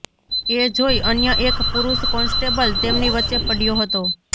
એ જોઈ અન્ય એક પુરૂષ કોન્સ્ટેબલ તેમની વચ્ચે પડયો હતો